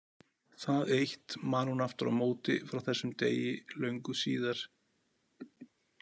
Það eitt man hún aftur á móti frá þessum degi löngu síðar.